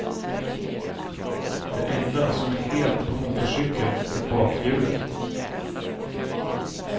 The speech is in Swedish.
Det enda som är helt på motorcykeln är bakhjulet.